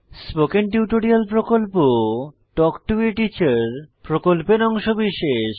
spoken tutorial প্রকল্প talk to a teacher প্রকল্পের অংশবিশেষ